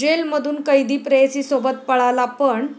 जेलमधून कैदी प्रेयसीसोबत पळाला पण...